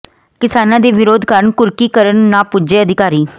ਕਿਸਾਨਾਂ ਦੇ ਵਿਰੋਧ ਕਾਰਨ ਕੁਰਕੀ ਕਰਨ ਨਾ ਪੁੱਜੇ ਅਧਿਕਾਰੀ